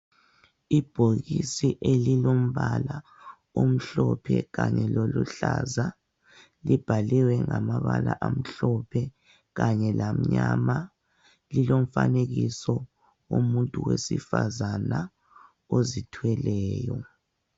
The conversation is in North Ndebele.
Ibhokisi elilombala omhlophe kanye loluhlaza. Libhaliwe ngamabala amhlophe kanye lamnyama. Lilomfanekiso womuntu wesifazana ozithweleyo.